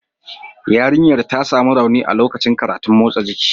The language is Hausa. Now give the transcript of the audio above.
Yarinyar ta sami rauni a lokacin karatun motsa jiki